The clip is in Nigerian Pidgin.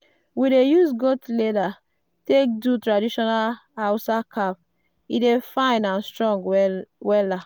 we dey use goat leather take do traditional hausa cap e dey fine and strong